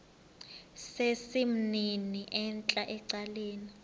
sesimnini entla ecaleni